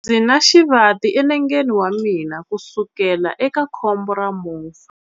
Ndzi na xivati enengeni wa mina kusukela eka khombo ra movha.